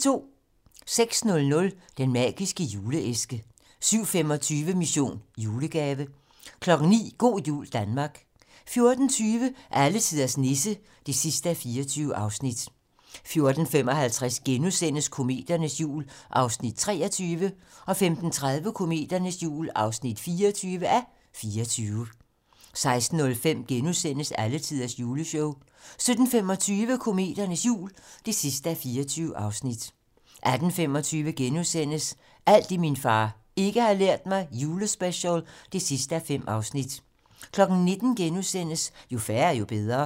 06:00: Den Magiske Juleæske 07:25: Mission: Julegave 09:00: Go' jul Danmark 14:20: Alletiders Nisse (24:24) 14:55: Kometernes jul (23:24)* 15:30: Kometernes jul (24:24) 16:05: Alletiders juleshow * 17:25: Kometernes jul (24:24) 18:25: Alt det, min far ikke har lært mig - julespecial (5:5)* 19:00: Jo færre, jo bedre *